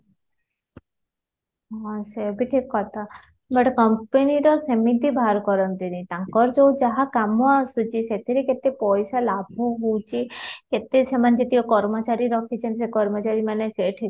ହଁ ସେ ଭି ଠିକ କଥା but company ର ସେମିତି ବାହାର କରନ୍ତିନି ତାଙ୍କର ଯୋଉ କାମ ଆସୁଛି ସେଇଥେର କେତେ ପଇସା ଲାଭ ହଉଚି କେତେ ସେମାନେ କର୍ମଚାରୀ ରଖିଛନ୍ତି ଆଉ କର୍ମଚାରି ମାନେ ଠିକ